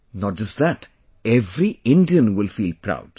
Not just that, every Indian will feel proud